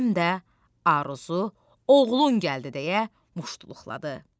Həm də Aruzu, oğlun gəldi deyə muştuluqladı.